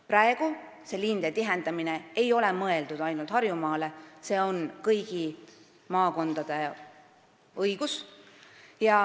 Praegu ei ole lisaraha liinide tihendamiseks mõeldud ainult Harjumaale, vaid see on kõigi maakondade õigus.